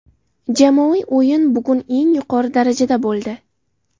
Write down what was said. Jamoaviy o‘yin bugun eng yuqori darajada bo‘ldi.